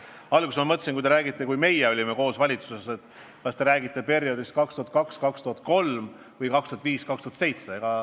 Alguses ma mõtlesin, et te räägite ajast, kui me olime koos valitsuses, et te räägite perioodist 2002–2003 või 2005–2007.